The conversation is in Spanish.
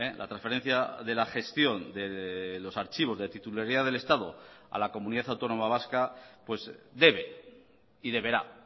la transferencia de la gestión de los archivos de titularidad del estado a la comunidad autónoma vasca pues debe y deberá